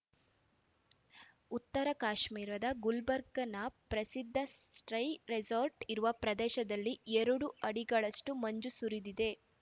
ಉತ್ತರ ಕಾಶ್ಮೀರದ ಗುಲ್ಭ್ ರ್ಗ್‌ನಬ್ ಪ್ರಸಿದ್ಧ ಸ್ಟ್ರೈ ರೆಸಾರ್ಟ್‌ ಇರುವ ಪ್ರದೇಶದಲ್ಲಿ ಎರಡು ಅಡಿಗಳಷ್ಟುಮಂಜು ಸುರಿದಿದೆ